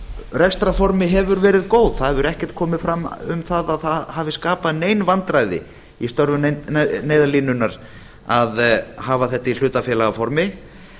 rekstrarformi hefur verið góð það hefur ekkert komið fram um að það hafi skapað nein vandræði í störfum neyðarlínunnar að hafa þetta í hlutafélagaformi